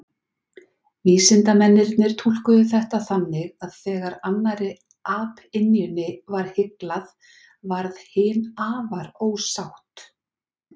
Vísindamennirnir túlkuðu þetta þannig að þegar annarri apynjunni var hyglað, varð hin afar ósátt.